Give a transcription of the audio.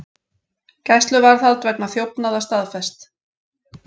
Gæsluvarðhald vegna þjófnaða staðfest